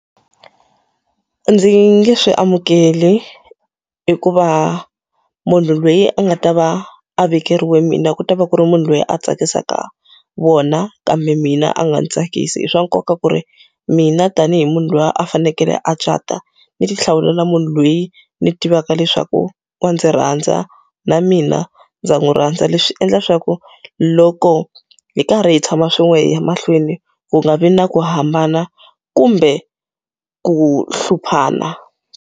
A ndzi nge swi amukeli hikuva munhu loyi a nga ta va a vekeriwe mina ku ta va ku ri munhu loyi a tsakisaka vona, kambe mina a nga ndzi tsakisi. I swa nkoka ku ri mina tanihi munhu loyi a fanekele a cata, ndzi ti hlawulela munhu loyi ndzi tivaka leswaku wa ndzi rhandza na mina ndza n'wi rhandza. Leswi endla leswaku loko hi karhi hi tshama swin'we hi ya mahlweni, ku nga vi na ku hambana kumbe ku hluphana.